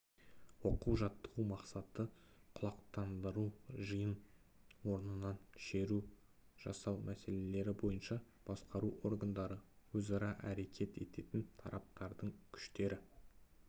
оқу-жаттығу мақсаты құлақтандыру жиын орнынан шеру жасау мәселелері бойынша басқару органдары өзара әрекет ететін тараптардың күштері